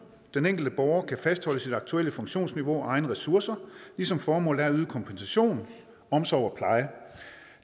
den enkelte borger kan fastholde sit aktuelle funktionsniveau og egne ressourcer ligesom formålet er at yde kompensation omsorg og pleje